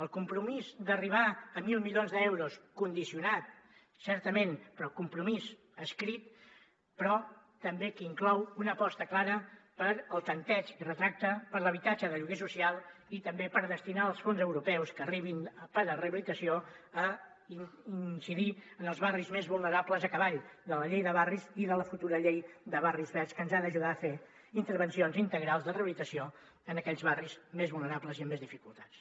el compromís d’arribar a mil milions d’euros condicionat certament però el compromís escrit però també que inclou una aposta clara pel tanteig i retracte per l’habitatge de lloguer social i també per destinar els fons europeus que arribin per a rehabilitació a incidir en els barris més vulnerables a cavall de la llei de barris i de la futura llei de barris verds que ens ha d’ajudar a fer intervencions integrals de rehabilitació en aquells barris més vulnerables i amb més dificultats